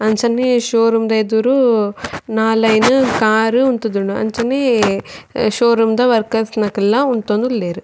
ಅಂಚನೆ showroom ದ ಎದುರು ನಾಲ್ ಐನ್ ಕಾರ್ ಉಂತುದುಂಡು ಅಂಚನೆ ಶೋ ರೂಮ್ ದ ವರ್ಕಸ್ ನಗುಲ್ಲ ಉಂತೊಂದುಲ್ಲೆರ್.